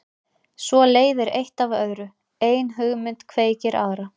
Svo leiðir eitt af öðru, ein hugmynd kveikir aðra.